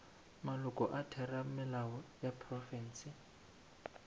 maloko a theramelao ya profense